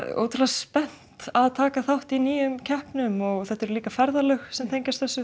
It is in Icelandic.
ótrúlega spennt að taka þátt í nýjum keppnum og þetta eru líka ferðalög sem tengjast þessu